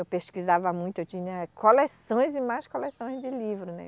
Eu pesquisava muito, eu tinha coleções e mais coleções de livro, né?